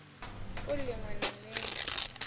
u lin we na lin